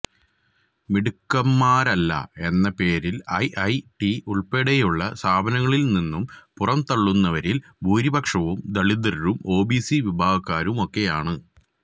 മിടുക്കന്മാരല്ല എന്ന പേരിൽ I I T ഉൾപ്പെടെയുള്ള സ്ഥാപനങ്ങളിൽ നിന്നും പുറം തള്ളുന്നവരിൽ ഭൂരിപക്ഷവും ദളിതരും ഒബിസി വിഭാഗക്കാരുമൊക്കെയാണ്